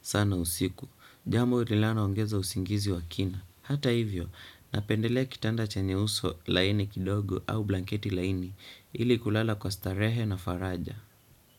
sana usiku. Jambo linaloongeza usingizi wa kina. Hata hivyo, napendelea kitanda chenye uso laini kidogo au blanketi laini ili kulala kwa starehe na faraja.